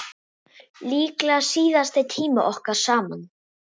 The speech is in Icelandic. Líklega síðasti tími okkar saman.